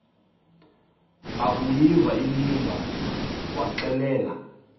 akuyiva inimba waxelela